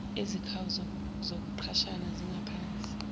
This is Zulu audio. ezikhawu zokuqashana zingaphansi